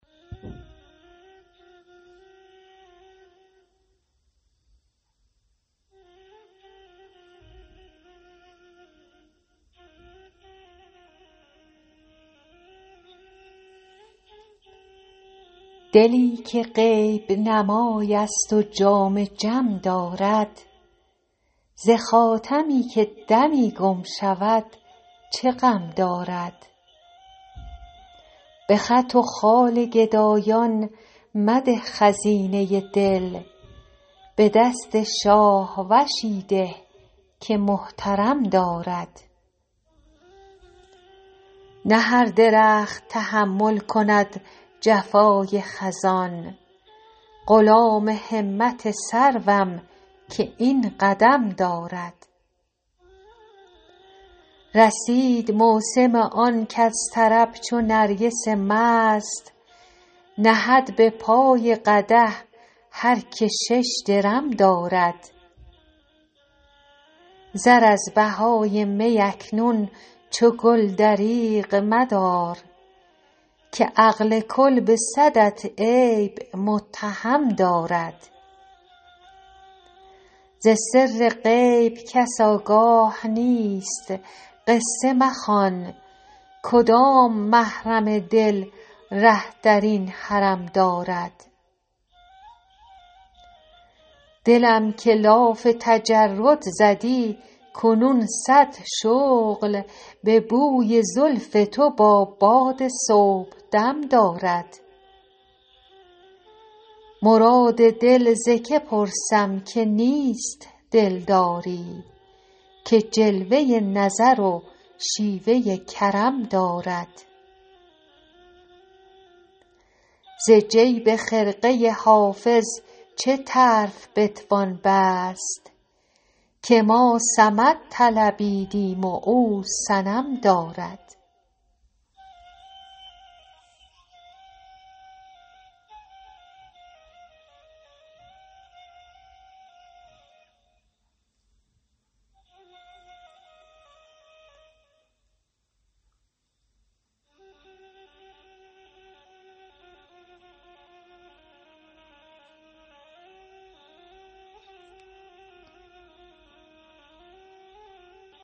دلی که غیب نمای است و جام جم دارد ز خاتمی که دمی گم شود چه غم دارد به خط و خال گدایان مده خزینه دل به دست شاهوشی ده که محترم دارد نه هر درخت تحمل کند جفای خزان غلام همت سروم که این قدم دارد رسید موسم آن کز طرب چو نرگس مست نهد به پای قدح هر که شش درم دارد زر از بهای می اکنون چو گل دریغ مدار که عقل کل به صدت عیب متهم دارد ز سر غیب کس آگاه نیست قصه مخوان کدام محرم دل ره در این حرم دارد دلم که لاف تجرد زدی کنون صد شغل به بوی زلف تو با باد صبحدم دارد مراد دل ز که پرسم که نیست دلداری که جلوه نظر و شیوه کرم دارد ز جیب خرقه حافظ چه طرف بتوان بست که ما صمد طلبیدیم و او صنم دارد